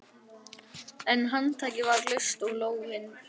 En handtakið var laust og lófinn sveittur.